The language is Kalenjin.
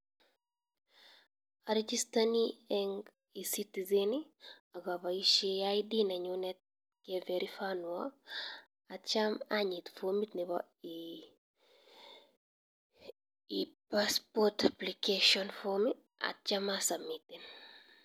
Arejestaine en E-citizen, akabaishen ID nenyunet keverifionwa atyam anyit formit nebo E- passport applcation form atyam asubmitten.